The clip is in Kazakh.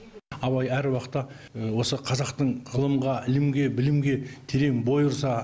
абай әр уақытта осы қазақтың ғылымға ілімге білімге терең бой ұрса